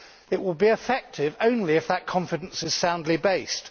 It will be effective only if that confidence is soundly based.